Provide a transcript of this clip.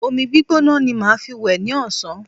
Omi gbígbóná ni màá fi wẹ̀ ní ọ̀sán